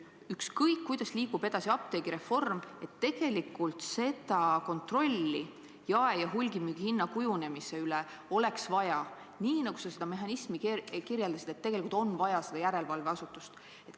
Ükskõik, kuidas liigub edasi apteegireform, tegelikult seda kontrolli jae- ja hulgimüügihinna kujunemise üle oleks vaja, nii nagu sa seda mehhanismi kirjeldasid, et tegelikult on vaja seda järelevalveasutust.